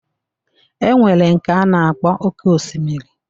E nwere nke a na-akpọ oké osimiri